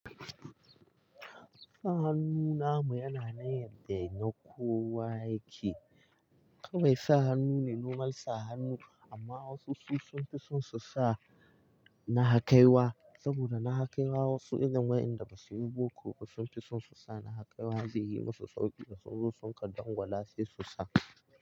Sa hannu namu yana nan yadda ya na kowa yake. Kawai sa hannu ne nomal sa hannu, amma wasu su sun fi son su sa nahakaiwa, saboda nahakaiwa wasu irin wayanda basu yi boko ba sun fi son su sa nahakaiwa, zai yi musu sauƙi da su zo sun kaɗangula sai su sa.